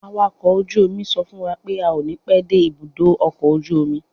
Awàkọ̀ ojú omi sọ fún wa pé a ó ní pẹ́ dé ibùdó ọkọ̀ ojú omi.